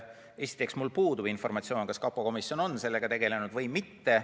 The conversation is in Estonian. Esiteks, mul puudub informatsioon, kas kapo komisjon on sellega tegelenud või mitte.